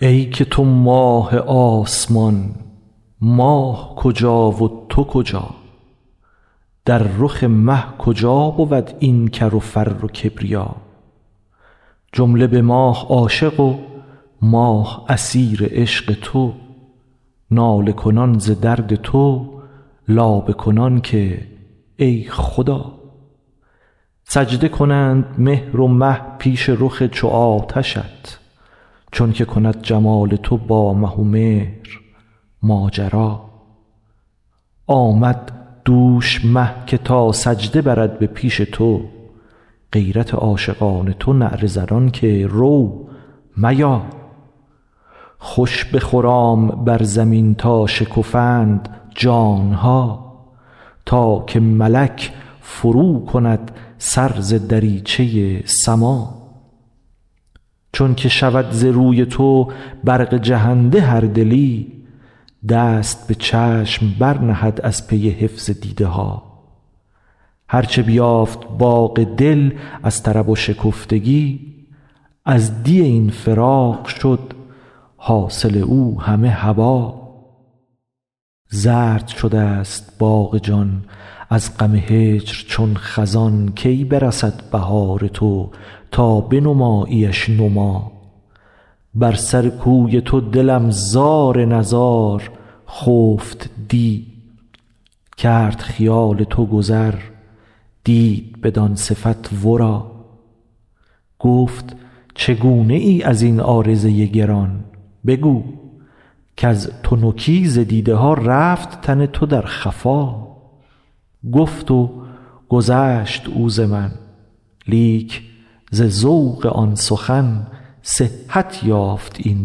ای که تو ماه آسمان ماه کجا و تو کجا در رخ مه کجا بود این کر و فر و کبریا جمله به ماه عاشق و ماه اسیر عشق تو ناله کنان ز درد تو لابه کنان که ای خدا سجده کنند مهر و مه پیش رخ چو آتشت چونک کند جمال تو با مه و مهر ماجرا آمد دوش مه که تا سجده برد به پیش تو غیرت عاشقان تو نعره زنان که رو میا خوش بخرام بر زمین تا شکفند جان ها تا که ملک فروکند سر ز دریچه سما چون که شود ز روی تو برق جهنده هر دلی دست به چشم برنهد از پی حفظ دیده ها هر چه بیافت باغ دل از طرب و شکفتگی از دی این فراق شد حاصل او همه هبا زرد شده ست باغ جان از غم هجر چون خزان کی برسد بهار تو تا بنماییش نما بر سر کوی تو دلم زار و نزار خفت دی کرد خیال تو گذر دید بدان صفت ورا گفت چگونه ای از این عارضه گران بگو کز تنکی ز دیده ها رفت تن تو در خفا گفت و گذشت او ز من لیک ز ذوق آن سخن صحت یافت این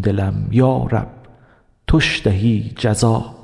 دلم یا رب توش دهی جزا